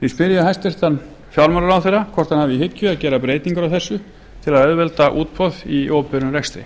ég hæstvirtan fjármálaráðherra hvort hann hafi í hyggju að gera breytingar á þessu til að auðvelda útboð í opinberum rekstri